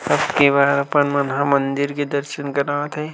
सब के बार अपन मन ह मंदिर के दर्शन करात है।